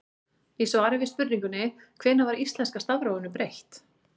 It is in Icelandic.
Í svari við spurningunni Hvenær var íslenska stafrófinu breytt?